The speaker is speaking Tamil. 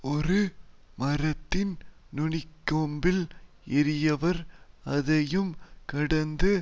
ஒரு மரத்தின் நுனிக்கொம்பில் ஏறியவர் அதையும் கடந்து